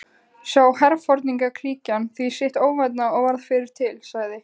Sá herforingjaklíkan því sitt óvænna og varð fyrri til, sagði